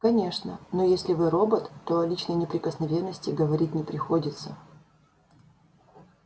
конечно но если вы робот то о личной неприкосновенности говорить не приходится